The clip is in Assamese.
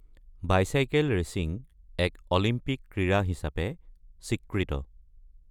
বাইচাইকেল ৰেচিঙ এক অলিম্পিক ক্ৰীড়া হিচাপে স্বীকৃত।